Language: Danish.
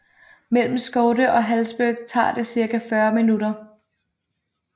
Mellem Skövde og Hallsberg tager det cirka 40 minutter